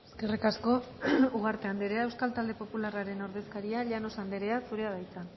eskerrik asko ugarte andrea euskal talde popularraren ordezkaria llanos andrea zurea da hitza